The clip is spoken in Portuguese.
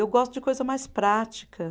Eu gosto de coisa mais prática.